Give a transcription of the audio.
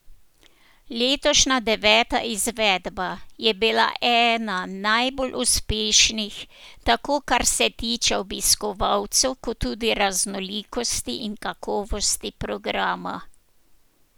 Letošnja deveta izvedba je bila ena najbolj uspešnih, tako kar se tiče obiskovalcev kot tudi raznolikosti in kakovosti programa.